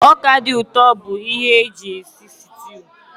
Ọka dị ụtọ bụ ihe eji esi sịtịụ